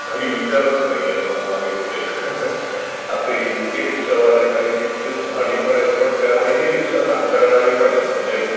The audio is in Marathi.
काही विचारचं नाहीये त्यंचा मागे पुढे इतके रीक्षावाले आहेत आणि भाडी पण आहेत. पण त्यातही रीक्षा नाकारणारे पण आहेत. म्हणजे